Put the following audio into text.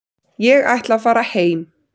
Ég ætla að fara heim.